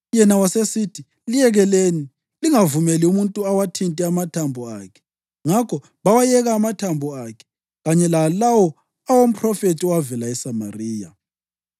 Yena wasesithi, “Liyekeleni lingavumeli muntu awathinte amathambo akhe.” Ngakho bawayekela amathambo akhe kanye lalawo awomphrofethi owavela eSamariya.